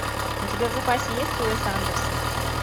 у тебя в запасе есть уэс андерсон